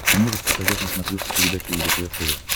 ты можешь показать на смотрешке передачу лдпр тв